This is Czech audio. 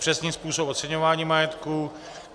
zpřesnit způsob oceňování majetku;